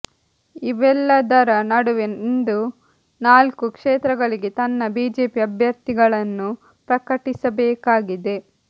ಇವೆಲ್ಲದರ ನಡುವೆ ಇಂದು ನಾಲ್ಕು ಕ್ಷೇತ್ರಗಳಿಗೆ ತನ್ನ ಬಿಜೆಪಿ ಅಭ್ಯರ್ಥಿಗಳನ್ನು ಪ್ರಕಟಿಸಬೇಕಾಗಿದೆ